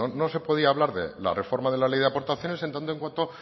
no no se podría hablar de la reforma de la ley de aportaciones en tanto en cuando